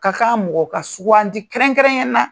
Ka kan mɔgɔ ka sugandi kɛrɛnkɛrɛn ya na